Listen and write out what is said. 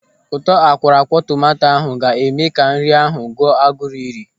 Ụtọ akwọrọakwọ tomanto ahụ ga-eme ka nri ahụ gụọ a gụrụ iri.